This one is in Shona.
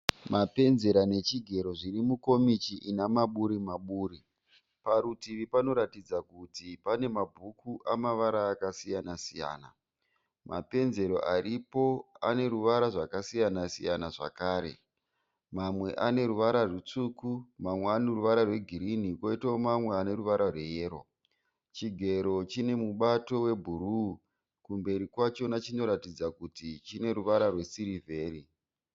Mapenzera nechigero zvirimukomichi inamaburi-maburi. Parutivi panoratidza kuti pane mabhuku eruvara rwakasiyana-siyana. Mapanzero aripo aneruvara rwakasiyana-siyana zvakare, mamwe aneruvara rwutsvuku, mamwe aneruvara rwegirini koitawo mamwe aneruvara rweyero. Chigero chinemubato webhuruu, kumberi kwacho chinoratidza kuti chineruvara rwesirivheri.